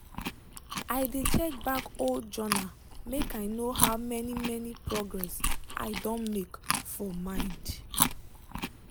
i de check back old journal make i know how many many progress i don make for mind.